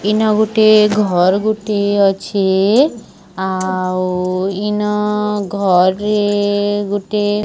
ଇନା ଗୁଟେ ଘର୍ ଗୁଟେ ଅଛି ଆଉ ଇନ ଘରେ ଗୁଟେ --